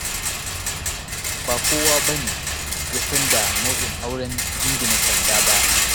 Ba kowane ya san da nau'in auren jingina sanda ba.